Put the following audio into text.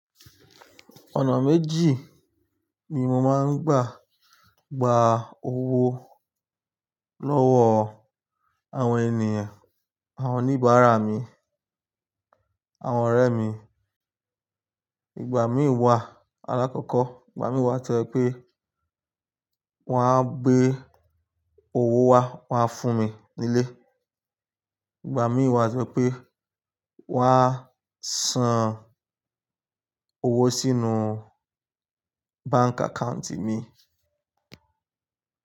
Ọ̀nà méjì ni mo máa ń gbà gba owó lọ́wọ́ àwọn ènìyàn, àwọn oníbàárà mi, àwọn ọ̀rẹ́ mi. Ìgbà mí wá alákọ̀kọ́, ìgbà mí wá tó ẹ pé wọ́n á gbé owó wá, wọ́n á fún mi nílé. Ìgbà mí wá tó jẹ pé wọ́n á san owó sínú bank account mi.